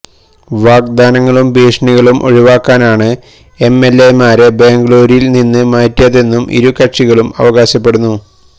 വാഗ്ദാനങ്ങളും ഭീഷണികളും ഒഴിവാക്കാനാണ് എംഎൽഎമാരെ ബംഗളൂരുവിൽ നിന്ന് മാറ്റിയതെന്നും ഇരു കക്ഷികളും അവകാശപ്പെടുന്നു